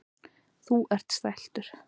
Þú ert stæltur.